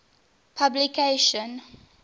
publication